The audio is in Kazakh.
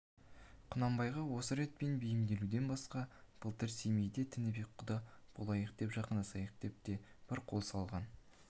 құнанбайға осы ретпен бейімделуден басқа былтыр семейде тінібек құда болайық жақындасайық деп те бір қолқа салған